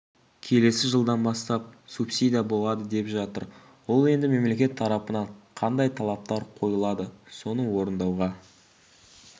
келесі жылдан бастап субсидия болады деп жатыр ол енді мемлекет тарапынан қандай талаптар қойылады соны орындауға